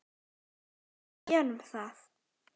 Jú, við gerum það.